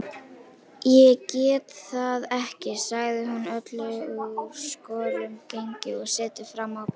Ég get það ekki, sagði hún öll úr skorðum gengin og settist fram á bekkinn.